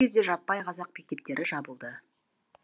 кезде жаппай қазақ мектептері жабылды